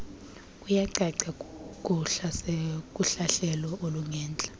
kuyacaca kuhlahlelo olungentla